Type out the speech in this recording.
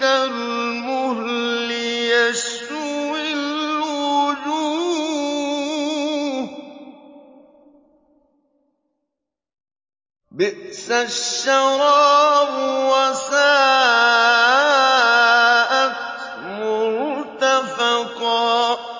كَالْمُهْلِ يَشْوِي الْوُجُوهَ ۚ بِئْسَ الشَّرَابُ وَسَاءَتْ مُرْتَفَقًا